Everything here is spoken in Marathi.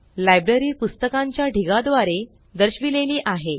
लाइब्ररी पुस्तकांच्या ढिगा द्वारे दर्शविलेली आहे